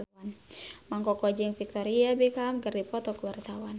Mang Koko jeung Victoria Beckham keur dipoto ku wartawan